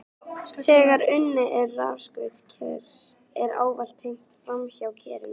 Þegar unnið er við rafskaut kers er ávallt tengt framhjá kerinu.